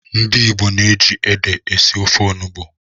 Ndị Igbo ji ede esi ofe onugbu.